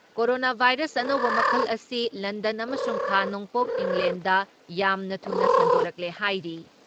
Corona virus ꯑꯅꯧꯕ ꯃꯈꯜ ꯑꯁꯤ ꯂꯟꯗꯟ ꯑꯃꯁꯨꯡ ꯈꯥ ꯅꯣꯡꯄꯣꯛ ꯏꯪꯂꯦꯟꯗ ꯌꯥꯝꯅ ꯊꯨꯅ ꯁꯟꯗꯣꯔꯛꯂꯦ ꯍꯥꯏꯔꯤ ꯫